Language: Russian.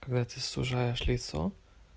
когда ты сужаешь лицо